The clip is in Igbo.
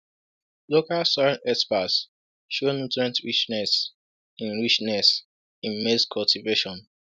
Local soil experts show nutrient richness in richness in maize cultivation.